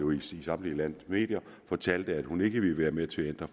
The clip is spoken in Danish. i samtlige landets medier og fortalte at hun ikke ville være med til at ændre